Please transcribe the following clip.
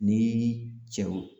Ni cɛw